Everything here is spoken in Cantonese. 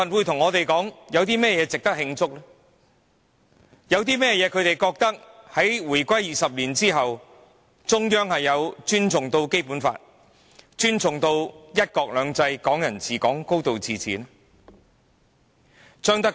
他們覺得，自香港回歸的20年間，中央不曾尊重《基本法》、"一國兩制"、"港人治港"和"高度自治"。